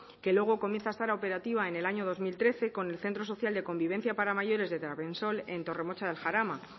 que luego comienza a estar operativa en el año dos mil trece con el centro social de convivencia para mayores de trabensol en torremocha de jarama